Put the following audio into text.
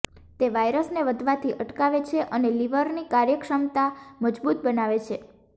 તે વાયરસને વધવાથી અટકાવે છે અને લીવરને કાર્ય કરવાની ક્ષમતા મજબુત બનાવે છે